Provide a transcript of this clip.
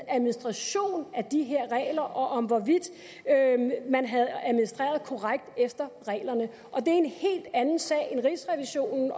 administration af de her regler og om hvorvidt man havde administreret korrekt efter reglerne og det er en helt anden sag i rigsrevisionen